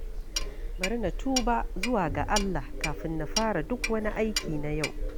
Bari na tuba zuwa ga Allah kafin na fara duk wani aiki na yau.